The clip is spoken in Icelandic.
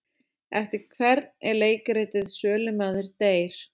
Eftir hvern er leikritið Sölumaður deyr?